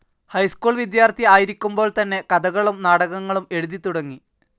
High school വിദ്യാർത്ഥി ആയിരിക്കുമ്പോൾ തന്നെ കഥകളും നാടകങ്ങളും എഴുതിത്തുടങ്ങി.